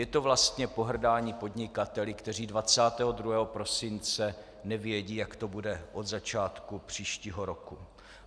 Je to vlastně pohrdání podnikateli, kteří 22. prosince nevědí, jak to bude od začátku příštího roku.